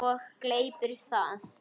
Og gleypir það.